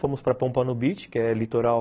Fomos para Pompano Beach, que é litoral